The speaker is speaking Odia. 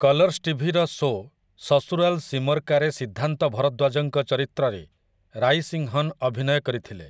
କଲର୍ସ୍ ଟିଭିର ଶୋ 'ସସୁରାଲ୍ ସିମର୍ କା'ରେ ସିଦ୍ଧାନ୍ତ ଭରଦ୍ୱାଜଙ୍କ ଚରିତ୍ରରେ ରାଇସିଂହନ୍ ଅଭିନୟ କରିଥିଲେ ।